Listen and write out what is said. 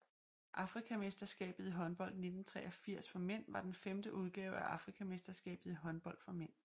Afrikamesterskabet i håndbold 1983 for mænd var den femte udgave af Afrikamesterskabet i håndbold for mænd